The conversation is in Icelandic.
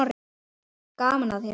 Gaman að þér!